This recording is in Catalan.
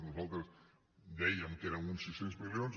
nosaltres dèiem que eren uns sis cents milions